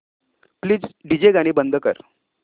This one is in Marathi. प्लीज डीजे गाणी बंद कर